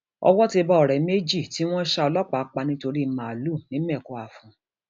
owó ti bá ọrẹ méjì tí wọn ṣa ọlọpàá pa nítorí màálùú nìmẹkọafọn